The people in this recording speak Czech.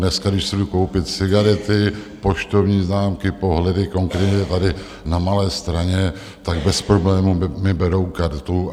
Dneska když si jdu koupit cigarety, poštovní známky, pohledy, konkrétně tady na Malé Straně, tak bez problémů mi berou kartu.